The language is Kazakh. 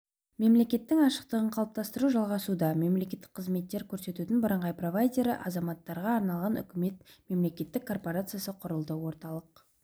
мемлекеттің ашықтығын қалыптастыру жалғасуда мемлекеттік қызметтер көрсетудің бірыңғай провайдері азаматтарға арналған үкімет мемлекеттік корпорациясы құрылды орталық